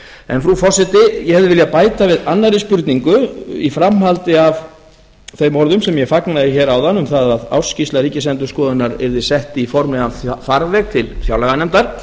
en frú forseti ég hefði viljað bæta við annarri spurningu í framhaldi af þeim orðum sem ég fagnaði hér áðan um það að ársskýrsla ríkisendurskoðunar yrði sett í formlegan farveg til fjárlaganefndar